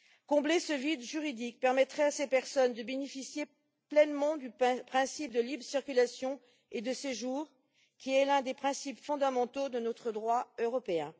Combler ce vide juridique permettrait à ces personnes de bénéficier pleinement du principe de libre circulation et de séjour, qui est l'un des principes fondamentaux de notre droit européen.